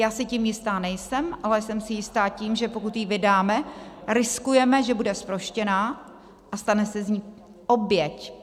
Já si tím jista nejsem, ale jsem si jista tím, že pokud ji vydáme, riskujeme, že bude zproštěna a stane se z ní oběť.